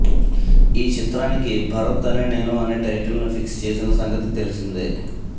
ఈ చిత్రానికి భరత్ అనే నేను అనే టైటిల్ ను ఫిక్స్ చేసిన సంగతి తెలిసిందే